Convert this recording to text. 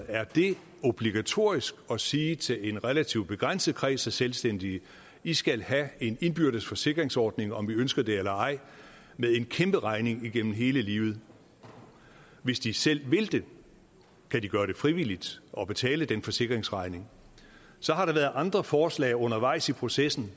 er det obligatorisk at sige til en relativt begrænset kreds af selvstændige i skal have en indbyrdes forsikringsordning om i ønsker det eller ej med en kæmpe regning igennem hele livet hvis de selv vil det kan de gøre det frivilligt og betale den forsikringsregning så har der været andre forslag undervejs i processen